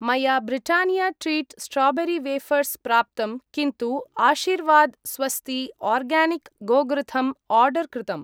मया Britannia treat strawberry wafers प्राप्तं किन्तु आशिर्वाद् स्वस्ती आर्गानिक् गोघृतम् आर्डर् कृतम्।